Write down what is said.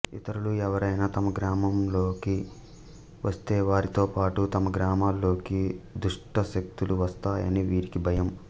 ఇతరులు ఎవరైనా తమ గ్రామాల్లోకి వస్తే వారితో పాటూ తమ గ్రామాల్లోకి దుష్ట శక్తులు వస్తాయని వీరికి భయం